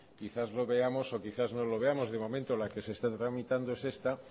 quizás lo veamos o quizás no lo veamos de momento la que se está tramitando es esta